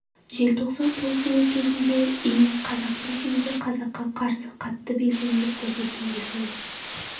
желтоқсан толқуы кезінде иіс қазақтың ішінде қазаққа қарсы қатты белсенділік көрсеткен де сол